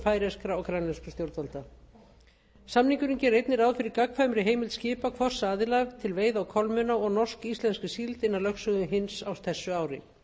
færeyskra og grænlenskra stjórnvalda samningurinn gerir einnig ráð fyrir gagnkvæmri heimild skipa hvors aðila til veiða á kolmunna og norsk íslenskri síld innan lögsögu hins á þessu ári